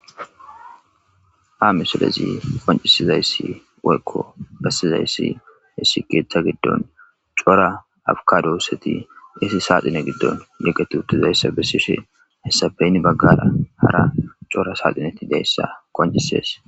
Ha misilezi qoncisizayssi woykko bassizayssi issi keeththa giddon cora afkadoosseti isi saaxine giddon yiqet utizayssa bessishe hessapeyn baggada hara cora saaxineti deyssa qoncisees